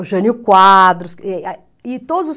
O Jânio Quadros. e todos